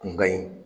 Kun ka ɲi